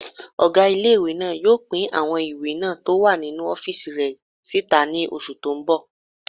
Ọgá ilé-ìwé náà yóò pín àwọn ìwé náà tó wà ní ọ́fìsì rẹ̀ síta ní oṣù tó n bọ̀